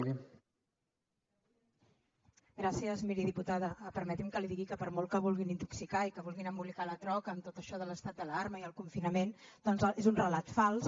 miri diputada permeti’m que li digui que per molt que vulguin intoxicar i que vulguin embolicar la troca amb tot això de l’estat d’alarma i el confinament doncs és un relat fals